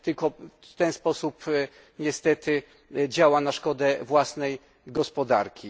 Tylko w ten sposób niestety działa na szkodę własnej gospodarki.